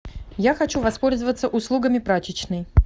я хочу воспользоваться услугами прачечной